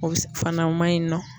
O be fana o maɲi nɔ